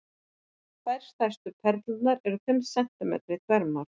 Tvær stærstu perlurnar eru fimm sentímetrar í þvermál.